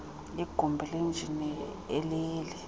yegumbi lenjini ileli